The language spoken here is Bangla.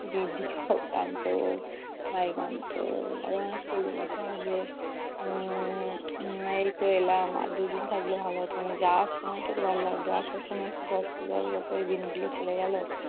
দিদি সব কাঁদতো, ভাই কাঁদতো আবার চলে যেতে হবে উম এইতো এলাম আর দুদিন থাকলে ভালো হতো। যাওয়ার সময়Tটুকো ভালো লাগতো, আসার সময় একটু কষ্ট লাগতো, দিন গুলো চলে গেলো।